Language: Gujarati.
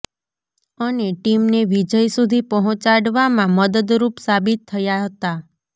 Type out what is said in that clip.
અને ટીમને વિજય સુધી પહોચાડવામાં મદદરુપ સાબીત થયા હતા